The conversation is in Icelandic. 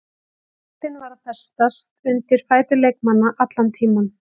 Boltinn var að festast undir fætur leikmanna allan tímann.